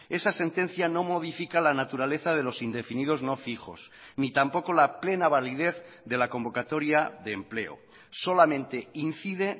esa sentencia no modifica la naturaleza de los indefinidos no fijos ni tampoco la plena validez de la convocatoria de empleo solamente incide